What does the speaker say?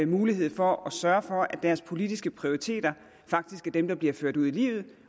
mulighed for at sørge for at deres politiske prioriteter faktisk er dem der bliver ført ud i livet